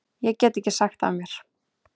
Ég get ekki sagt af mér.